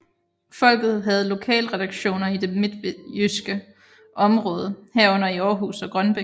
Folket havde lokalredaktioner i det midtjyske område herunder i Århus og Grønbæk